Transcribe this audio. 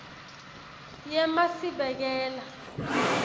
yemasibekela